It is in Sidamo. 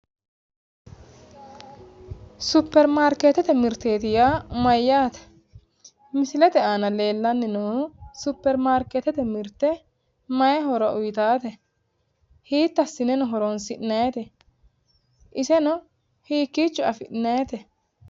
Supermarkeetete mirteeti yaa mayyaate? Misilete aana leellanni noohu supermarkeetete mirte Hiitto assinenobhoronsi'nannite? Iseno hiikkicho afi'nayiite?